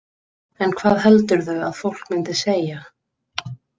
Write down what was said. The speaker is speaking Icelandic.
En hvað heldurðu að fólk myndi segja?